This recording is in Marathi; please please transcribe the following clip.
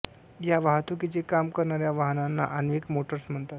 या वाहतुकीचे काम करणाऱ्या वाहनांना आण्विक मोटर्स म्हणतात